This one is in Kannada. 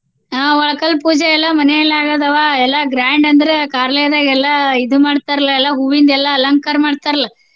ಆ ಒಳಕಲ್ಲ್ ಪೂಜೆಯೆಲ್ಲಾ ಮನೆಯಲ್ಲೆ ಆಗಿದಾವ ಎಲ್ಲಾ grand ಅಂದ್ರೆ ಆ ಕಾರ್ಲಯದಾಗ ಎಲ್ಲಾ ಇದು ಮಾಡ್ತಾರ್ಲಾ ಎಲ್ಲಾ ಹೂವಿಂದ ಎಲ್ಲಾ ಅಲಂಕಾರ ಮಾಡ್ತಾರಲ್ಲ್.